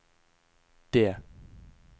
det